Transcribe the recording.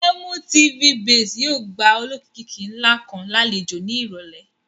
MTV base yóò gba olókìkí ńlá kan lálejò ní ìrọ̀lẹ́